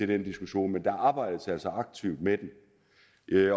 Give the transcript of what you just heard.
den diskussion men der arbejdes altså aktivt med den